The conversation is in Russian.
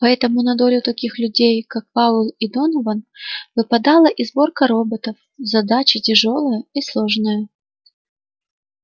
поэтому на долю таких людей как пауэлл и донован выпадала и сборка роботов задача тяжёлая и сложная